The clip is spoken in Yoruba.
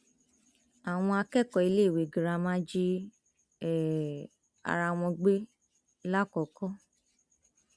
àwọn akẹkọọ iléèwé girama jí um ara wọn gbé làkọkọ